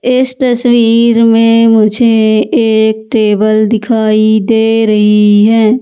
इस तस्वीर में मुझे एक टेबल दिखाई दे रही हैं।